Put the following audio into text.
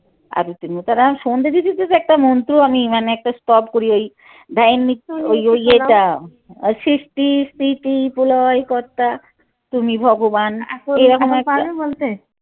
আরতির মত একটা মন্ত্র আমি মানে একটা স্তব করি এই প্রলয় কর্তা তুমি ভগবান